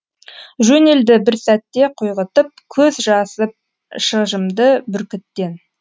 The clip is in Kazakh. жөнелді бір сәтте құйғытып көз жазып шыжымды бүркіттен